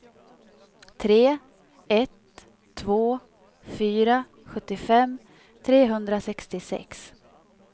tre ett två fyra sjuttiofem trehundrasextiosex